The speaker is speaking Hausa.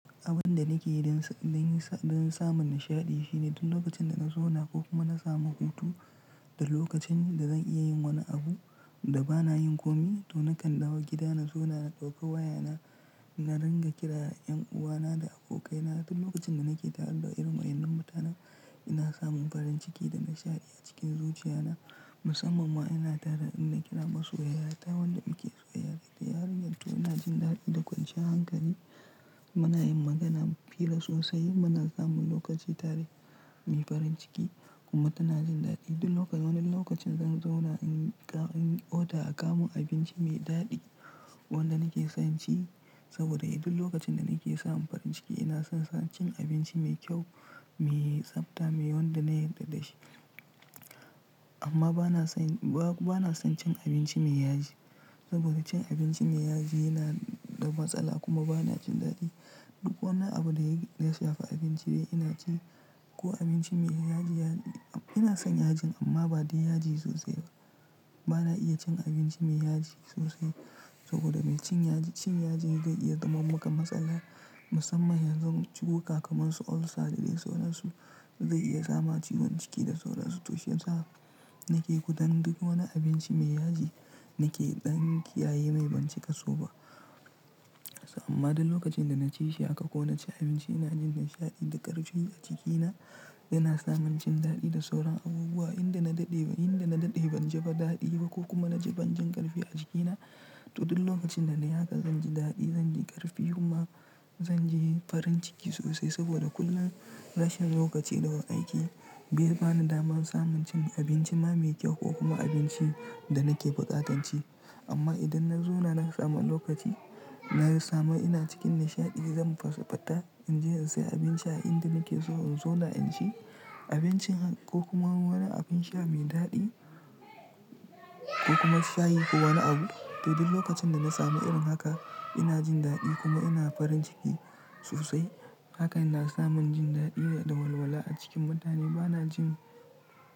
Abin da nake yi don, don yi sa, don samun nishaɗi shine duk lokacin da na zauna ko kuma na samu hutu da lokacin da zan iya yin wani abu da ba na yin komai to na kan dawo gida na zauna na ɗauka wayana na ringa kira 'yan uwana da abokaina duk lokacin da nake tare da irin wa'yannan mutanen ina samun farin ciki da nishaɗi a cikin zuciyana musamman ma ina tare in na kira masoyiyata wadda muke soyayya da ita. Yarinyar to ina jin daɗi da ƙwanciyan hankali muna yin magana fira sosai muna samun lokaci tare mai farin ciki kuma tana jin daɗi duk lok-- wani lokacin zan zauna in ga-- inyi oda a kawo mun abinci mai daɗi wanda nake son ci saboda duk lokacin da nake samun farin ciki ina son sa cin abinci mai kyau, mai tsabta, mai wanda na yarda da shi. Amma bana son, ba-bana son cin abinci mai yaji saboda cin abinci mai yaji yana da matsala kuma bana jin daɗi. Duk wani abu da ya shafa abinci dai ina ci ko abinci mai yaji, ya-- ina son yajin amma ba dai yaji sosai ba. Bana iya cin abinci mai yaji sosai saboda mai cin yaji, cin yajin zai iya zama maka matsala musamman yanzu ciwuka kamar su ulcer da dai sauransu zai iya sa ma ciwon ciki da sauransu, to shiyasa nake gudun duk wani abinci mai yaji nake ɗan kiyaye mai ban cika so ba. Amma duk lokacin da na ci shi haka ko na ci abinci ina jin nishaɗi da ƙarfi a jikina yana samin jin daɗi da sauran abubuwa inda na daɗe, inda na daɗe ban ji ba daɗi ba ko kuma na ji ban jin ƙarfi a cikina to duk lokacin da nai hakan zan ji daɗi zan ji ƙarfi kuma zan ji farin ciki sosai saboda kullum rashin lokaci daga aiki bai bani damar samun cin abinci na mai kyau ko kuma abinci da nake buƙatan ci. Amma idan na zauna na samu lokaci na samu ina cikin nishaɗi zan fasa fita in je in sayi abin sha inda nake so in zauna in ci abincin ko kuma wani abin sha mai daɗi ko kuma shayi ko wani abu to duk lokacin da na samu irin haka ina jin daɗi kuma ina farin ciki sosai hakan na samin jin daɗi ne da walwala a cikin mutane bana jin.